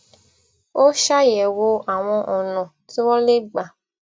ó ṣàyèwò àwọn ònà tí wón lè gbà